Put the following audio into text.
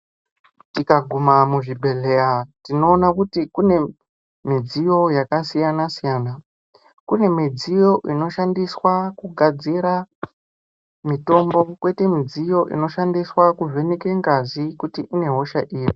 Tikaguma muzvibhedhlera tinoona kuti mune midziyo yakasiyana siyana kune midziyo inoshandiswa kugadzira mitombo koita midziyo inoshandiswa kuvheneka ngazi kuti ine hosha iri.